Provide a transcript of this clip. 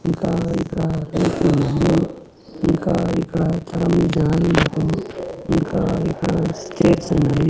ఇంకా ఇక్కడ ఇంకా ఇక్కడ చానా మంది జనాలు ఉన్నారు ఇంకా ఇక్కడ స్టేర్స్ ఉన్నాయి.